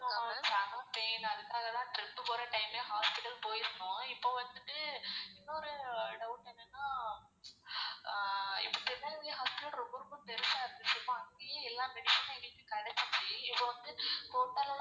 pain அதுல்லாம் trip போற time லையே hospital போயிருந்தோம் இப்போ வந்துட்டு இன்னொரு doubt என்னனா இப்போ திருநெல்வேலி hospital ரொம்ப ரொம்ப பெருசா இருந்துச்சு அங்கயே எல்லா medicines ம் எங்களுக்கு கேடசுச்சு இப்போ வந்து கோட்டார்.